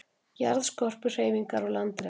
Jarðskorpuhreyfingar og landrek